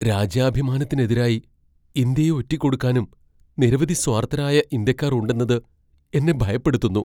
രാജ്യാഭിമാത്തിന് എതിരായി ഇന്ത്യയെ ഒറ്റിക്കൊടുക്കാനും നിരവധി സ്വാർത്ഥരായ ഇന്ത്യക്കാർ ഉണ്ടെന്നത് എന്നെ ഭയപ്പെടുത്തുന്നു.